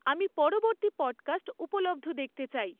আমি পরবর্তী পডকাস্ট উপলব্ধ দেখতে চাই